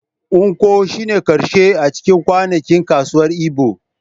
Nkwo shine na karshe a cikin kwanakin kasuwar Igbo.